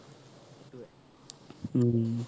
উম